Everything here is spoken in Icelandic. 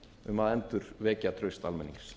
um að endurvekja traust almennings